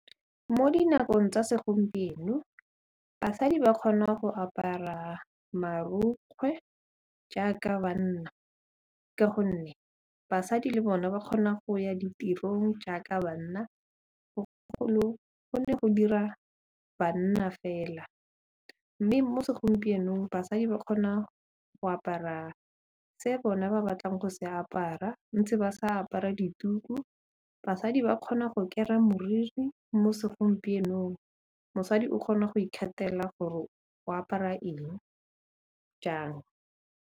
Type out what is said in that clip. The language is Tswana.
Mo dinakong tsa segompieno basadi ba kgona go apara marukgwe jaaka banna ka gonne basadi le bone ba kgona go ya ditirong jaaka banna, go ne go dira banna fela mme mo segompienong basadi ba kgona go apara tse bone ba batlang go se apara ntse ba sa apara dituku, basadi ba kgona go kera moriri mo segompienong, mosadi o kgona go ikgethela gore o apara eng jang.